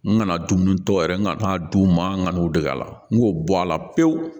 N kana dumuni tɔ yɛrɛ n kana d'u ma n ka n'u dege a la n k'o bɔ a la pewu